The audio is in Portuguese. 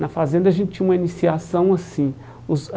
Na fazenda a gente tinha uma iniciação assim. Os